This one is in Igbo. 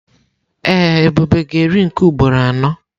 Ee, Ebube ga-eri nke ugboro anọ.